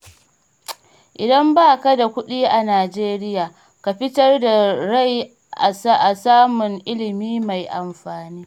Idan ba ka da kuɗi a Najeriya, ka fitar da rai a samun ilimi mai amfani